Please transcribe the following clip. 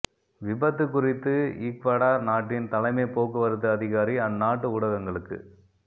விபத்து குறித்து ஈக்வடார் நாட்டின் தலைமை போக்குவரத்து அதிகாரி அந் நாட்டு ஊடகங்களுக்கு